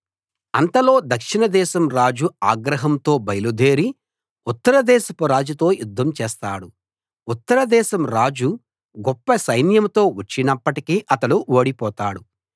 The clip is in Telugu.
అంతలో దక్షిణదేశం రాజు ఆగ్రహంతో బయలుదేరి ఉత్తరదేశపు రాజుతో యుద్ధం చేస్తాడు ఉత్తర దేశం రాజు గొప్పసైన్యంతో వచ్చినప్పటికీ అతడు ఓడిపోతాడు